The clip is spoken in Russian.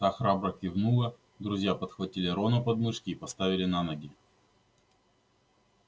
та храбро кивнула друзья подхватили рона под мышки и поставили на ноги